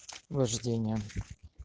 вождение